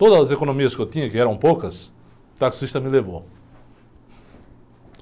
Todas as economias que eu tinha, que eram poucas, o taxista me levou.